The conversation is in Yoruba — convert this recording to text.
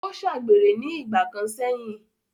ó ṣàgbèrè ní ìgbà kan sẹ̀yìn.